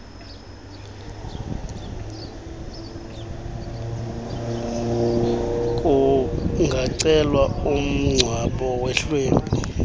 kungacelwa umngcwabo wehlwempu